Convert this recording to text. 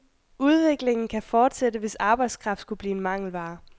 Udviklingen kan fortsætte, hvis arbejdskraft skulle blive en mangelvare.